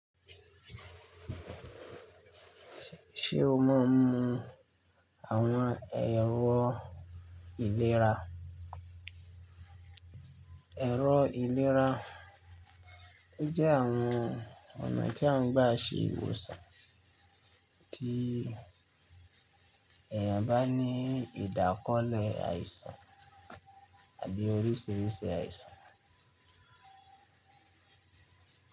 Ṣé o máa ń mu àwọn ẹ̀rọ ìlera? Ẹ̀rọ ìlera jẹ́ àwọn ọ̀nà tí a ń gbà ṣe ìwòsàn tí èèyàn bá ní ìdákọ́lẹ̀ àìsàn àbí oríṣiríṣi àìsàn.